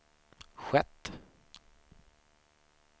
skett